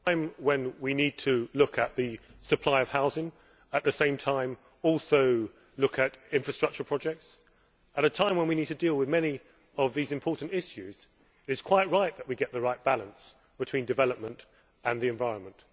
Mr President, at a time when we need to look at the supply of housing, and at the same time also look at infrastructure projects, at a time when we need to deal with many of these important issues, it is quite right that we get the right balance between development and the environment.